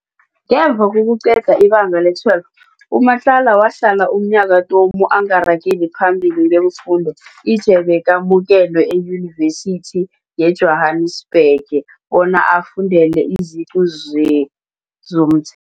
Ngemva kokuqeda iBanga le-12 u-Matlakane wahlala umnyaka tomu angarageli phambili ngeemfundo ije bekamukelwe eYunivesithi yeJwanasbhege bona ayofundela iziqu ze zomthetho.